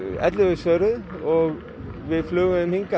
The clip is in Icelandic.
ellefu svöruðu og við flugum þeim hingað